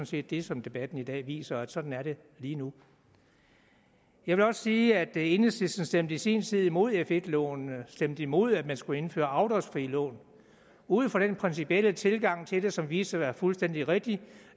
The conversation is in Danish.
set det som debatten i dag viser at sådan er det lige nu jeg vil også sige at enhedslisten i sin tid stemte imod f1 lånene stemte imod at man skulle indføre afdragsfrie lån ud fra den principielle tilgang til det som viste være fuldstændig rigtig